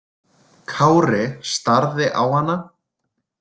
Kári starði á hana.